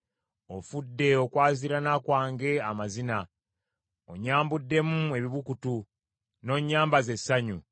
Ofudde okwaziirana kwange amazina; onnyambuddemu ebibukutu, n’onnyambaza essanyu.